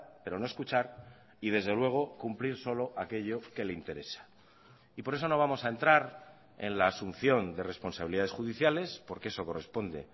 pero no escuchar y desde luego cumplir solo aquello que le interesa y por eso no vamos a entrar en la asunción de responsabilidades judiciales porque eso corresponde